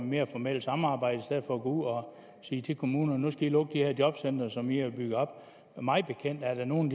mere formelt samarbejde for at gå ud og sige til kommunerne at nu skal i lukke de her jobcentre som i har bygget op mig bekendt er der nogle